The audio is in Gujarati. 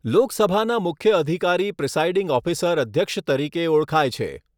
લોકસભાના મુખ્ય અધિકારી પ્રિસાઈડીંગ ઓફિસર અધ્યક્ષ તરીકે ઓળખાય છે.